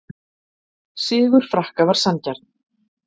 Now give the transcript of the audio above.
Sigur Frakka var sanngjarn